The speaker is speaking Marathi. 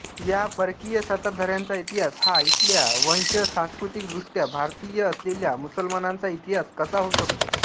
या परकीय सत्ताधाऱ्यांचा इतिहास हा इथल्या वंशसांस्कृतिकदृष्ट्या भारतीय असलेल्या मुसलमानांचा इतिहास कसा होऊ शकतो